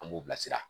An b'u bilasira